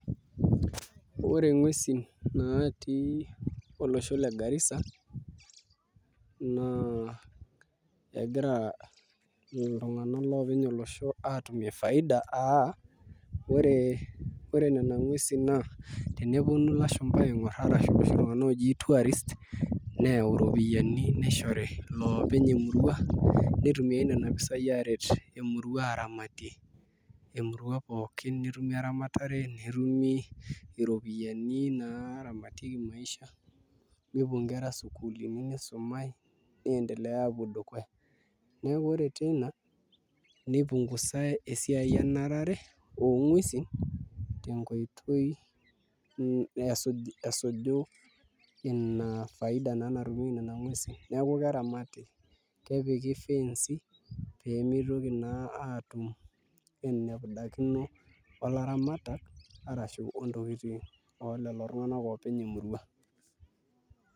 Ore nguesi naatii olosho le Garissa naa egira iloopeny olosho aatumie faida aa ore nena nguesi naa eneponu ilashumba aing'orr ashu iloshi tung'anak ooji tourists neyau iropiyiani nishori iloopeny emurua nitumiaa nena pisaai aaret emurua aaramatie emurua pooki netumi eramatare netumi iropiyiani naaramatieki maisha nepuo nkera sukuulini nisumaai niendelea aapuo dukuya neeku ore teina nipungusai esiai enarare onguesi esuju ina faida naa natumieki Nena nguesi neeeku keramati, kepiki ifenci pee motoki naa aatum enepudakino olaramatak arashu oontokitin ooleleo tung'anak oopeny emurua.